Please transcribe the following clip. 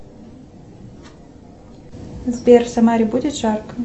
сбер в самаре будет жарко